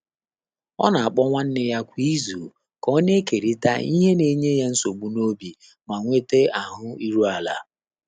Ọ́ nà-àkpọ́ nwánné yá kwá ízù kà ọ́ nà-ékèrị́tà ìhè nà-ényé yá nsógbú n’óbí mà nwètá áhụ́ íru álá.